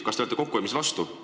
Kas te olete kokkuhoidmise vastu?